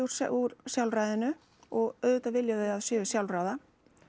úr sjálfræðinu og auðvitað vilja þau séu sjálfráða